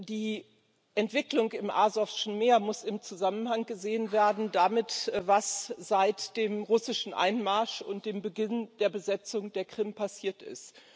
Die Entwicklung im Asowschen Meer muss im Zusammenhang gesehen werden mit dem, was seit dem russischen Einmarsch und dem Beginn der Besetzung der Krim passiert ist.